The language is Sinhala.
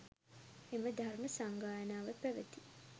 එම ධර්ම සංගායනාව පැවැති